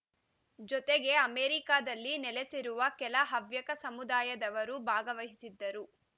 ಜೊತೆಗೆ ಅಮೆರಿಕದಲ್ಲಿ ನೆಲೆಸಿರುವ ಕೆಲ ಹವ್ಯಕ ಸಮುದಾಯದವರೂ ಭಾಗವಹಿಸಿದ್ದರು